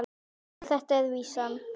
Vel þekkt er vísan